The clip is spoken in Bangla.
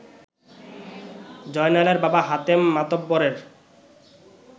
জয়নালের বাবা হাতেম মাতব্বরের